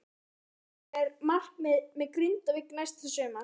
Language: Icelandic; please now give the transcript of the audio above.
Hefurðu hugsað þér einhver markmið með Grindavík næsta sumar?